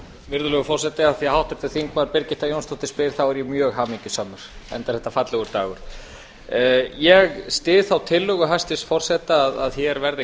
virðulegur forseti af því að háttvirtur þingmaður birgitta jónsdóttir spyr þá er ég mjög hamingjusamur enda er þetta fallegur dagur ég styð þá tillögu hæstvirts forseta að hér verði